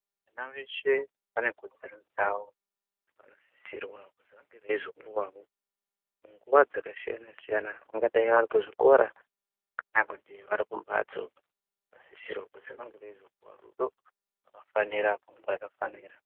Vana veshe vane kodzero dzavo. Vanosisirwa kuzi vange veizopuwawo nguva dzakasiyana siyana kungadai vari kuzvikora kana kuti vari kumbatso, vanosisirwa kuti vanenge veizopuwe rudo rwakafanira panguva yakafanira.